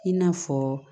I n'a fɔ